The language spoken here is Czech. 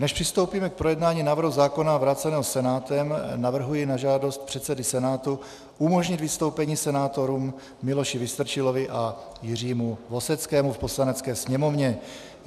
Než přistoupíme k projednání návrhu zákona vráceného Senátem, navrhuji na žádost předsedy Senátu umožnit vystoupení senátorům Miloši Vystrčilovi a Jiřímu Voseckému v Poslanecké sněmovně.